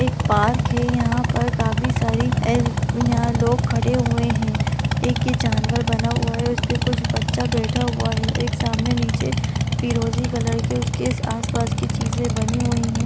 एक पार्क है यहाँ पर काफी सारी ए-- यहाँ लोग खड़े हुए हैं। एक ये जानवर बना हुआ है उस पे कुछ बच्चा बैठा हुआ हैं एक सामने नीचे फिरोज़ी कलर के उसके आस-पास की चीज़े बनी हुई हैं।